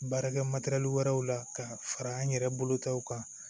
Baarakɛ matɛrɛli wɛrɛw la ka fara an yɛrɛ bolotaw kan